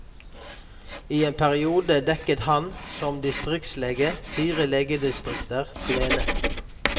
I en periode dekket han, som distriktslege, fire legedistrikter alene.